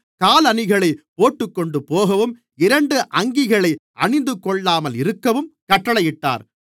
காலணிகளைப் போட்டுக்கொண்டுபோகவும் இரண்டு அங்கிகளை அணிந்துகொள்ளாமலிருக்கவும் கட்டளையிட்டார்